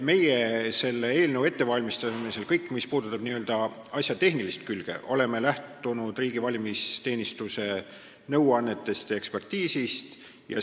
Meie seda eelnõu ette valmistades oleme selles, mis puudutab asja tehnilist külge, lähtunud riigi valimisteenistuse nõuannetest ja ekspertiisist.